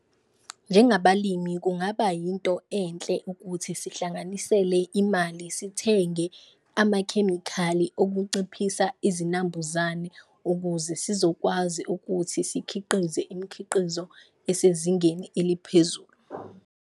Njengabalimi kungaba yinto enhle ukuthi sihlanganisele imali sithenge amakhemikhali okuciphisa izinambuzane, ukuze sizokwazi ukuthi sikhiqize imikhiqizo esezingeni eliphezulu.